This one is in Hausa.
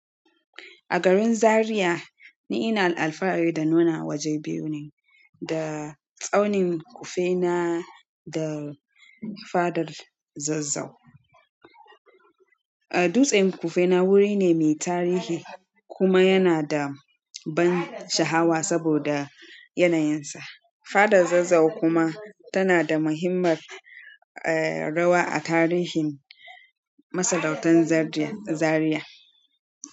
A garin Zariya, ni ina alfahari da nuna waje biyu ne, da tsaunin Kufena da fadar Zazzau. Dutsen Kufena wuri ne mai tarihi kuma yana da ban sha'hawa saboda yanayinsa. Fadar Zazzau kuma tana da muhimmar, eh, rawa a tarihin masarautar Zaria, Zariya.